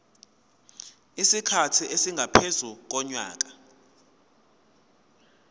isikhathi esingaphezu konyaka